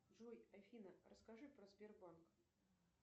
джой афина расскажи про сбербанк